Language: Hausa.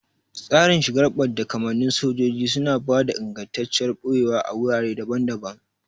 Tsarin shigar badda kamannin sojoji suna ba da ingantacciyar ɓoyewa a wurare daban-daban.